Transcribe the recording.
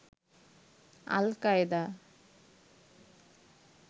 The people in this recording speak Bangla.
আল কায়দা